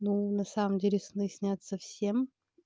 ну на самом деле сны снятся всем